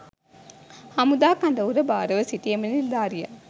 හමුදා කඳවුර භාරව සිටි එම නිලධාරියා